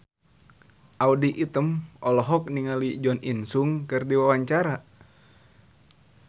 Audy Item olohok ningali Jo In Sung keur diwawancara